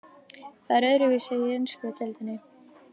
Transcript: Það er öðruvísi í ensku deildinni.